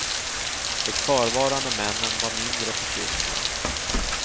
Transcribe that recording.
De kvarvarande männen var mindre förtjusta.